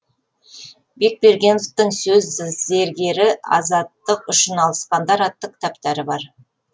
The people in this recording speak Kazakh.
бекбергеновтің сөз зергері азаттық үшін алысқандар атты кітаптары бар